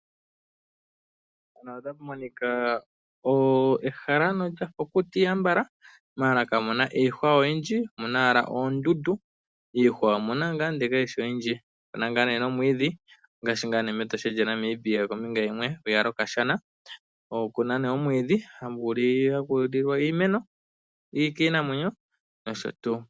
Mpano otapu monika ehala nolya kukuta ihe ambala mala kamu iihwa oyindji omuna owala oondundu iihwa omuna wala maala kayishi oyindji ngaashi ngaa ne mEtosha lyaNamibia kombinga yimwe hiya lokashana oku ne omwiidhi haku liwa omwiidhi kiinamwenyo.